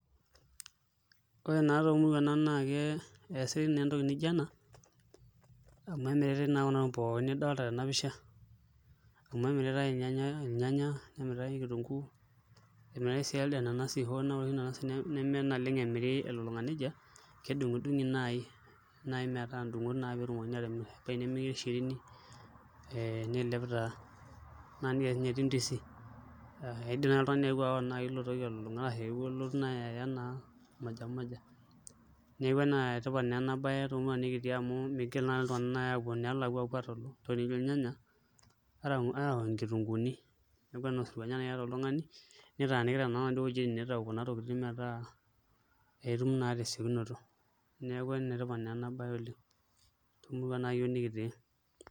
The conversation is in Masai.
Ore taa toomuruan keesitai entoki nijio amu kemiritai naa kuna tokitin pookin nidolta tena pisha amu emiritai ilnyanya nemiritai kitunguu emiritai sii elde nanasi ore sii nanasi neme oleng' emiri elulung'a nijia kedung'udung'i naai metaa ndungot naa pee etumokini aatimirr ebaiki nemiri shirini niilep taa naa nijia ake sinye etiu ndizi kelelek naai eya oltung'ani ilo toki elulung'a ashu elotu naai aya naa moja moja neeku enetipat naa ena baye toomuruan nikitii amu miingil naa nai iltunganak aapuo enelakua apuo aatalu ntokitin nijio ilnyanya ashu nkitunguuni neeku enaa osirua ninye naai iata oltung'ani nitaanikita naa inaduo wuejitin niitau inaduo tokitin metaa itum naa tesiekunoto neeku enetipat naa ena baye oleng' temurua iyiook nekitii.